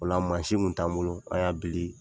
O la kun t'an bolo an y'a bili